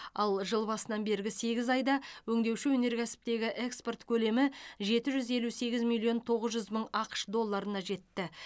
ал жыл басынан бергі сегіз айда өңдеуші өнеркәсіптегі экспорт көлемі жеті жүз елу сегіз миллион тоғыз жүз мың ақш долларына жетті